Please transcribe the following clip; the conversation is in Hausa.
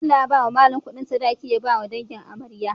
Bello ya bawa mallan Ƙudin sadaki ya bawa dangin amarya